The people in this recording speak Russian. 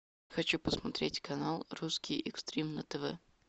хочу посмотреть канал русский экстрим на тв